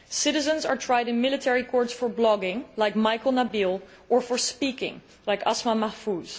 Citizens are tried in military courts for blogging like Maikel Nabil or for speaking out like Asmaa Mahfouz.